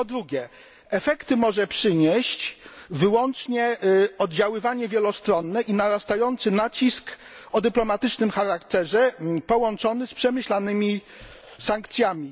I po drugie efekty może przynieść wyłącznie oddziaływanie wielostronne i narastający nacisk o dyplomatycznym charakterze połączony z przemyślanymi sankcjami.